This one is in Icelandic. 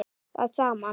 að saman.